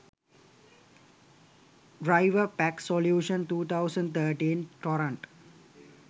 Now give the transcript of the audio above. driverpack solution 2013 torrent